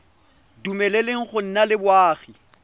dumeleleng go nna le boagi